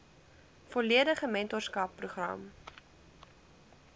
volledige mentorskap program